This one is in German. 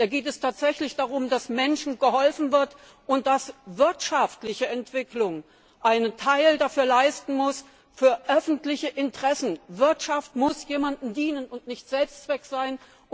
Da geht es tatsächlich darum, dass Menschen geholfen wird und dass wirtschaftliche Entwicklung einen Teil für öffentliche Interessen leisten muss! Wirtschaft muss jemandem dienen und nicht Selbstzweck sein.